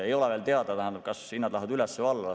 Ei ole veel teada, kas hinnad lähevad üles või alla.